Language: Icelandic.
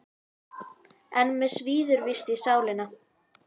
En mig svíður víst í sálina.